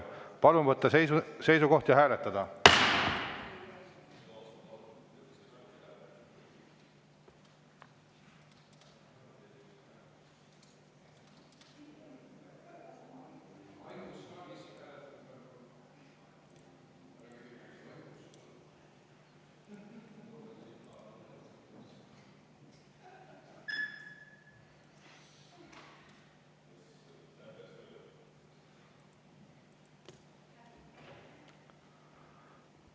Palun võtta seisukoht ja hääletada!